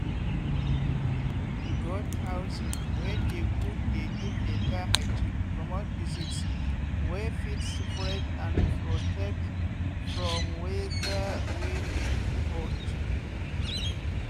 goat housing wey dey good dey give better hygiene comot disease wey fit spread and protect from weather wey dey too hot.